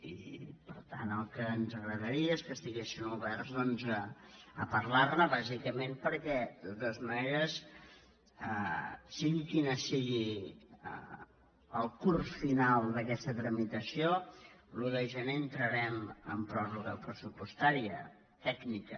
i per tant el que ens agradaria és que estiguessin oberts a parlar·ne bàsicament perquè de totes maneres sigui quin sigui el curs final d’aquesta tramitació l’un de gener entrarem en pròrroga pressu· postària tècnica